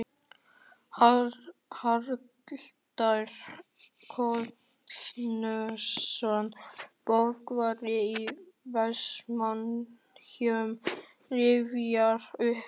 Haraldur Guðnason, bókavörður í Vestmannaeyjum, rifjar upp